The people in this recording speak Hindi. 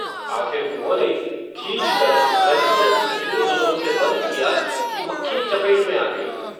आखिर उन्होंने, खीझकर, रजिस्टर इतनी ज़ोरों से बन्द किया, कि मक्खी चपेट में आ गई